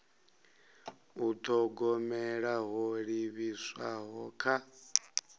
u thogomela ho livhiswaho kha